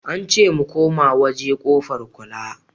Ance mu koma waje kofar kula